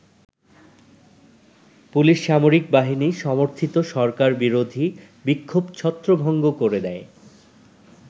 Police সামরিক বাহিনী সমর্থিত সরকার বিরোধী বিক্ষোভ ছত্রভঙ্গ করে দেয়।